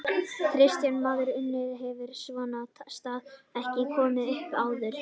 Kristján Már Unnarsson: En hefur svona staða ekki komið upp áður?